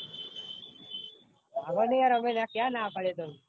અમે નાઈ યાર ક્યાં ના પાડો તન